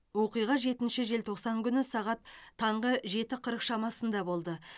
оқиға жетінші желтоқсан күні сағат таңғы жеті қырық шамасында болды